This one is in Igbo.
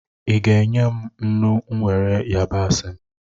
Ị ga enye m nnu, were yabasị m?